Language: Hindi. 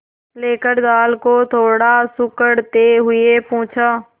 लेकर दाल को थोड़ा सुड़कते हुए पूछा